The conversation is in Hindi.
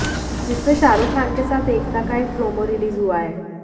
जिसमें शाहरुख खान के साथ एकता का एक प्रोमो रिलीज हुआ है